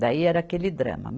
Daí era aquele drama.